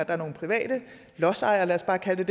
er nogle private lodsejere lad os bare kalde